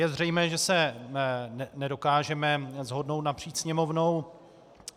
Je zřejmé, že se nedokážeme shodnout napříč Sněmovnou.